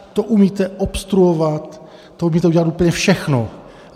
To umíte obstruovat, to umíte udělat úplně všechno.